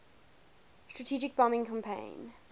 strategic bombing campaign